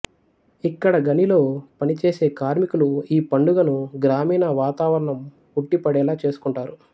ఇక్కడ గనిలో పనిచేసే కార్మికులు ఈ పండుగను గ్రామీణ వాతావరణం ఉట్టిపడేలా చేసుకుంటారు